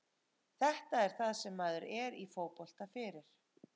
Þetta er það sem maður er í fótbolta fyrir.